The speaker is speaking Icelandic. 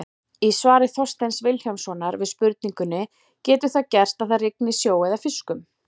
Í svari Þorsteins Vilhjálmssonar við spurningunni Getur það gerst að það rigni sjó eða fiskum?